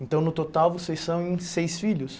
Então, no total, vocês são em seis filhos?